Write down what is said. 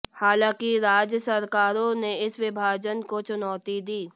हालांकि राज्य सरकारों ने इस विभाजन को चुनौती दी